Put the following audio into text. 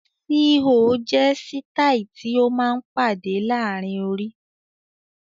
"Síí ò" jẹ́ sitai tí ó máa ń pàdé laarin orí.